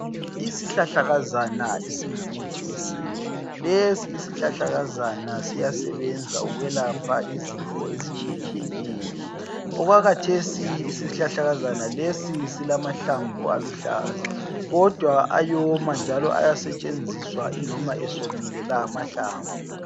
Isihlahlakazana esingumuthi wesintu, lesi isihlahlakazana siyelapha ukwelapha izifo ezitshiyeneyo okwakhathesi isihlahlakazana lesi silamahlamvu aluhlaza kodwa ayomana njalo ayasetshenziswa iloba esomile lawo amahlamvu.